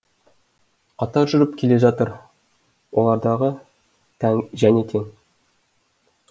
қатар жүріп келе жатыр олардағы және тең